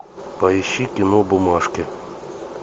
поищи кино бумажки